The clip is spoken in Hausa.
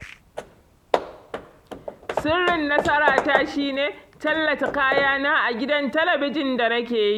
Sirrin nasarata shi ne, tallata kayana a gidan talabijin da nake yi